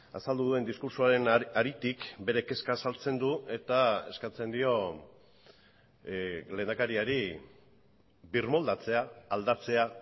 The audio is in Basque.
azaldu duen diskurtsoaren haritik bere kezka azaltzen du eta eskatzen dio lehendakariari birmoldatzea aldatzea